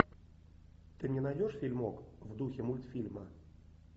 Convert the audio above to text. ты мне найдешь фильмок в духе мультфильма